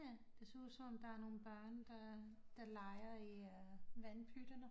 Ja det ser ud som om der er nogle børn der der leger i vandpytterne